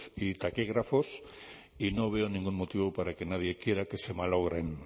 y taquígrafos y no veo ningún motivo para que nadie quiera que se malogren